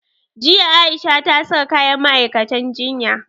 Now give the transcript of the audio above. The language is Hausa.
Jiya A'isha ta saka kayan ma'aikatan jinya.